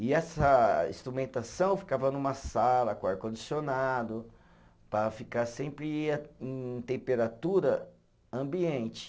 E essa instrumentação ficava numa sala com ar-condicionado, para ficar sempre e em temperatura ambiente.